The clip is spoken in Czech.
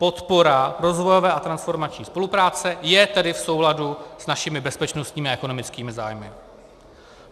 Podpora rozvojové a transformační spolupráce je tedy v souladu s našimi bezpečnostními a ekonomickými zájmy.